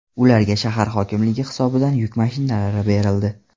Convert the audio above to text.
Ularga shahar hokimligi hisobidan yuk mashinalari berildi.